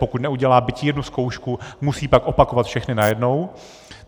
Pokud neudělá byť jednu zkoušku, musí pak opakovat všechny najednou.